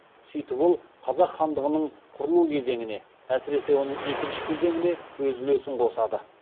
сөйтіп ол қазақ хандығының құрылу кезеңіне әсіресе оның екінші кезеңіне өз үлесін қосады